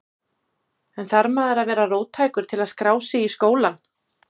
En þarf maður að vera róttækur til að skrá sig í skólann?